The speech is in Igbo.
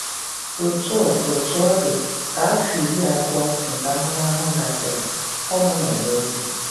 Otú ọ Otú ọ dị, ka afọ iri abụọ nke ahụmahụ gasịrị, ọ gbanwere obi.